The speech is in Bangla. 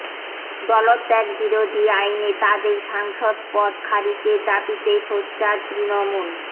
দলত্যাগ বিরোধী আইনে তাঁদের সাংসদ পদ খারিজের দাবিতে সোচ্চার তৃণমূল